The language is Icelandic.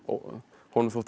honum þótti